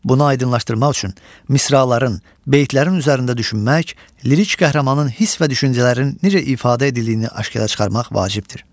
Bunu aydınlaşdırmaq üçün misraların, beytlərin üzərində düşünmək, lirik qəhrəmanın hiss və düşüncələrini necə ifadə edildiyini aşkara çıxarmaq vacibdir.